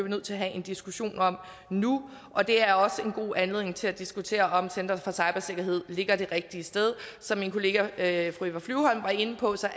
nødt til at have en diskussion om nu og det er også en god anledning til at diskutere om center for cybersikkerhed ligger det rigtige sted som min kollega fru eva flyvholm var inde på